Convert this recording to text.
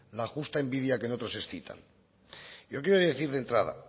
la justa envidia que en otros excitan yo quiero decir de entrada